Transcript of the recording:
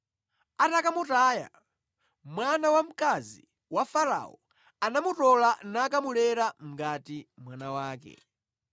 Atakamutaya, mwana wamkazi wa Farao anamutola nakamulera ngati mwana wake.